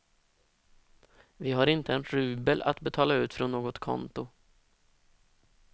Vi har inte en rubel att betala ut från något konto.